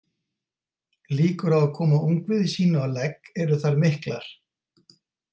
Líkur á að koma ungviði sínu á legg eru þar miklar.